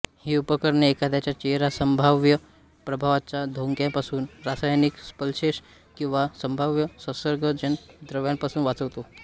ही उपकरणे एखाद्याचा चेहरा संभाव्य प्रभावाच्या धोक्यांपासून रासायनिक स्प्लॅशेस किंवा संभाव्य संसर्गजन्य द्रव्यांपासून वाचवतो